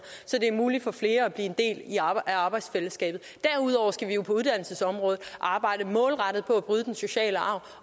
så det er muligt for flere at blive en del af arbejdsfællesskabet derudover skal vi jo på uddannelsesområdet arbejde målrettet på at bryde den negative sociale arv